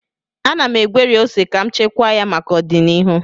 Ana m egweri ose ka m chekwaa ya maka ọdịnihu